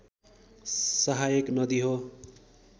सहायक नदी हो